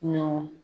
Ɲɔgɔn